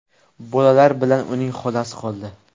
Bolalar bilan uning xolasi qoldi.